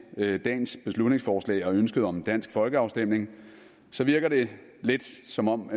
dagens beslutningsforslag og ønsket om en dansk folkeafstemning virker det lidt som om